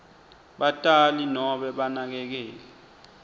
batali nobe banakekeli